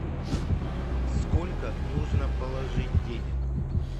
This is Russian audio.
сколько нужно положить денег